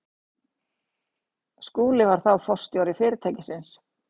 Skúli var þá forstjóri fyrirtækisins.